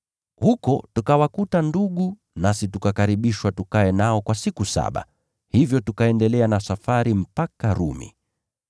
Huko tukawakuta ndugu, nasi tukakaribishwa tukae nao kwa siku saba. Hivyo tukaendelea na safari mpaka Rumi.